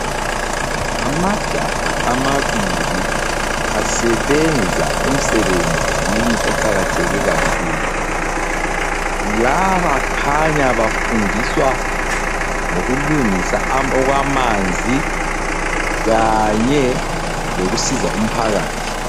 Amajaha amabili asebenza emsebenzini oqakatheke kakhulu. Laba khanya bafundiswa ngokulungisa okwamanzi kanye lokusiza umphakathi.